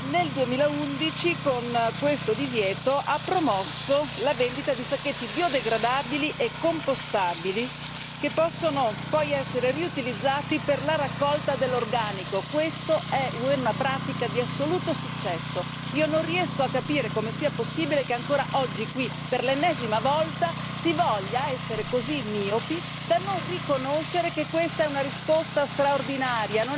Nel 2011, con questo divieto ha promosso la vendita di sacchetti biodegradabili e compostabili, che possono poi essere riutilizzati per la raccolta dell'organico e questa è una pratica di assoluto successo. Non riesco a capire come sia possibile che ancora oggi qui, per l'ennesima volta, si voglia essere così miopi da non riconoscere che questa è una risposta straordinaria.